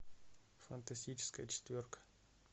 фантастическая четверка